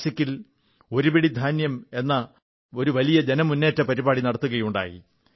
നാസിക്കിൽ ഒരു പിടി ധാന്യം എന്ന ഒരു വലിയ ജനമുേന്നറ്റപരിപാടി നടത്തുകയുണ്ടായി